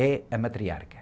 É a matriarca.